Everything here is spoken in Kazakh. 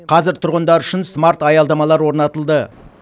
қазір тұрғындар үшін смарт аялдамалар орнатылды